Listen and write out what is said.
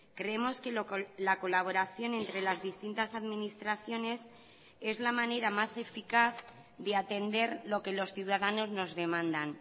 creemos que la colaboración entre las distintas administraciones es la manera más eficaz de atender lo que los ciudadanos nos demandan